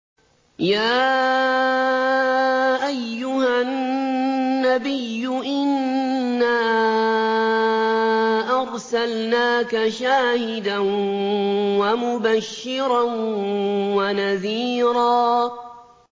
يَا أَيُّهَا النَّبِيُّ إِنَّا أَرْسَلْنَاكَ شَاهِدًا وَمُبَشِّرًا وَنَذِيرًا